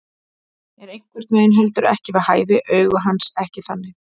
Er einhvern veginn heldur ekki við hæfi, augu hans ekki þannig.